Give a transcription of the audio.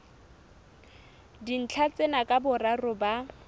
dintlha tsena ka boraro ba